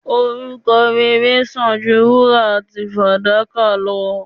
Orúkọ rere sàn ju wúrà àti fàdákà lọ